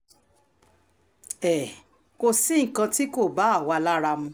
um kò sí nǹkan tí kò um bá àwa lára mu